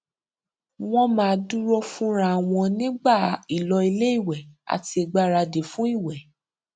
wọn máa dúró fúnra wọn nígbà ìlò iléìwẹ àti ìgbáradì fún ìwẹ